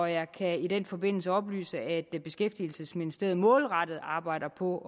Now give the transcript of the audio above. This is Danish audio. jeg kan i den forbindelse oplyse at beskæftigelsesministeriet målrettet arbejder på